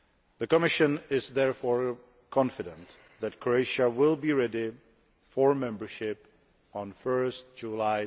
The Commission is therefore confident that Croatia will be ready for membership on 1 July